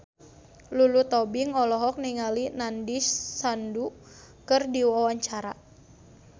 Lulu Tobing olohok ningali Nandish Sandhu keur diwawancara